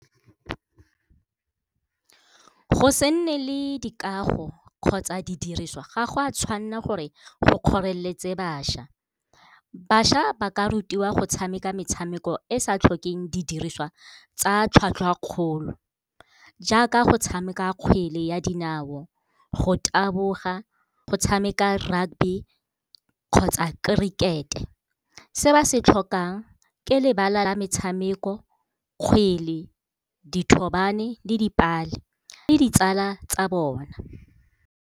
Go se nne le dikago kgotsa di diriswa ga gwa tshwanela gore go kgoreletse bašwa. Bašwa ba ka rutiwa go tshameka metshameko e sa tlhokeng di diriswa tsa tlhwatlhwa kgolo, jaaka go tshameka kgwele ya dinao, go taboga, go tshameka rugby kgotsa cricket. Se ba se tlhokang ke lebala la metshameko, kgwele, dithobane le dipale le ditsala tsa bone.